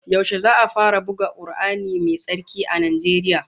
Yaushe za'a fara buga Al-Qur'ani Mai tsarki a Najeriya?